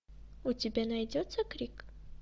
у тебя найдется крик